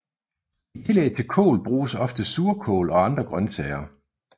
I tillæg til kål bruges ofte surkål og andre grønsager